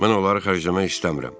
Mən onları xərcləmək istəmirəm.